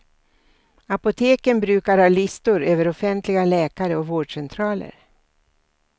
Apoteken brukar ha listor över offentliga läkare och vårdcentraler.